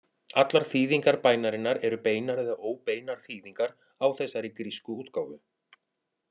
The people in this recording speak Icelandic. Allar þýðingar bænarinnar eru beinar eða óbeinar þýðingar á þessari grísku útgáfu.